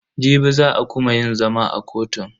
Jibi za a kuma yin zama a kotun.